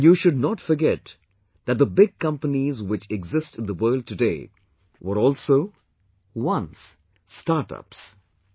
And you should not forget that the big companies which exist in the world today, were also, once, startups